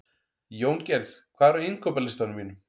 Jóngerð, hvað er á innkaupalistanum mínum?